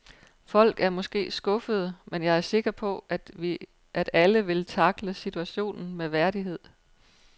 Folk er måske skuffede, men jeg er sikker på, at alle vil tackle situationen med værdighed.